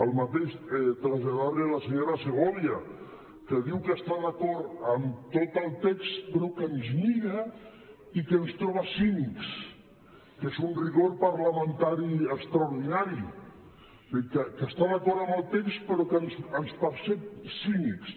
el mateix traslladar li a la senyora segovia que diu que està d’acord amb tot el text però que ens mira i que ens troba cínics que és un rigor parlamentari extraordinari que està d’acord amb el text però que ens percep cínics